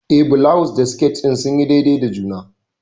Eh, bulawus da sket din sunyi daidai da juna.